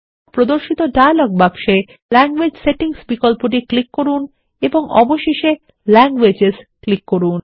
প্রদর্শিত ডায়লগ বাক্সে language settings বিকল্পটি ক্লিক করুন এবং অবশেষে ল্যাংগুয়েজেস ক্লিক করুন